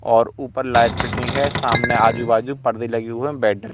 और ऊपर light fitting है। सामने आजूबाजू पर्दे लगे हुई है --